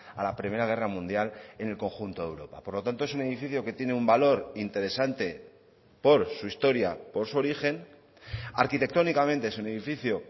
a la primera guerra mundial en el conjunto de europa por lo tanto es un edificio que tiene un valor interesante por su historia por su origen arquitectónicamente es un edificio